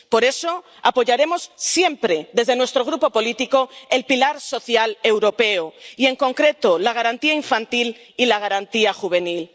Por eso apoyaremos siempre desde nuestro grupo político el pilar social europeo y, en concreto, la Garantía Infantil y la Garantía Juvenil.